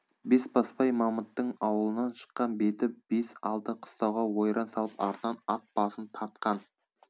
бесбасбай мамыттың аулынан шыққан беті бес алты қыстауға ойран салып артынан ат басын тартқан